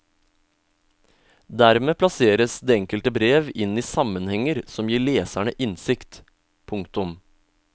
Dermed plasseres det enkelte brev inn i sammenhenger som gir leserne innsikt. punktum